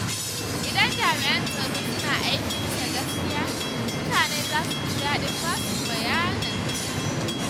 Idan jami’an tsaro suna aiki bisa gaskiya, mutane za su ji daɗin basu bayanan sirri.